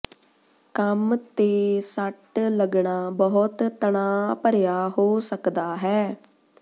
ਕੰਮ ਤੇ ਸੱਟ ਲੱਗਣਾ ਬਹੁਤ ਤਣਾਅ ਭਰਿਆ ਹੋ ਸਕਦਾ ਹੈ